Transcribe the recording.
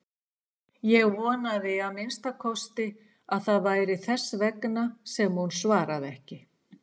Ég vonaði að minnsta kosti að það væri þess vegna sem hún svaraði ekki.